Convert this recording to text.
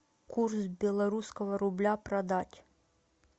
курс белорусского рубля продать